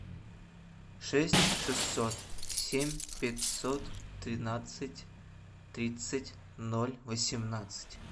шесть шестьсот семь пятьсот тринадцать тридцать ноль восемнадцать